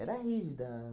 Era rígida.